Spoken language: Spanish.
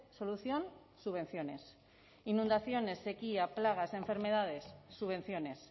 solución subvenciones inundaciones sequía plagas enfermedades subvenciones